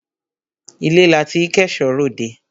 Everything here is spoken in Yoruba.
Ilé la tí k'ẹ̀ṣọ́ r'òdẹ.